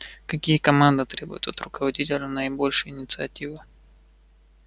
какие команды требуют от руководителя наибольшей инициативы